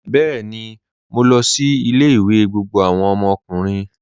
Bẹẹni, mó lọ sí ilẹ̀-ìwé gbogbo awọn ọmọkùnrin.